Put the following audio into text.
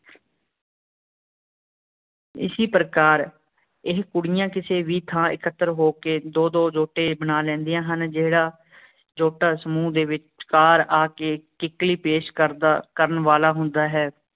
ਇਸੀ ਪ੍ਰਕਾਰ ਇਹ ਕੁੜੀਆਂ ਕਿਸੇ ਵੀ ਥਾਂ ਇਕਤ੍ਰ ਹੋ ਕੇ ਦੋ ਦੋ ਜੋਟੇ ਬਣਾ ਲੈਂਦੀਆਂ ਹਨ ਜਿਹੜਾ ਜੋਟਾ ਸਮੂਹ ਦੇ ਵਿਚਕਾਰ ਆ ਕੇ ਕਿਕਲੀ ਪੇਸ਼ ਕਰਦਾ ਕਰਨ ਵਾਲਾ ਹੁੰਦਾ ਹੈਂ